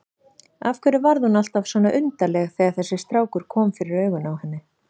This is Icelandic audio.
Af hverju varð hún alltaf svona undarleg þegar þessi strákur kom fyrir augun á henni?